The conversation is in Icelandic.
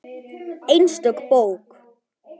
Einstök bók.